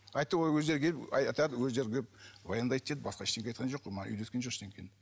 айтты олар өздері келіп айтады өздері келіп баяндайды деді басқа ештеңе айтқан жоқ қой маған үйреткен жоқ ештеңені